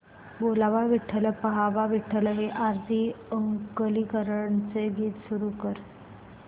बोलावा विठ्ठल पहावा विठ्ठल हे आरती अंकलीकरांचे गीत सुरू कर